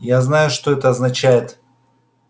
я знаю что это означает